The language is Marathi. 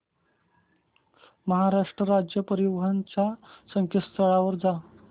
महाराष्ट्र राज्य परिवहन च्या संकेतस्थळावर जा